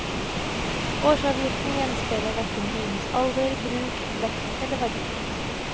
Årsavgiften gjenspeiler hverken bilens alder, bruk, vekt eller verdi.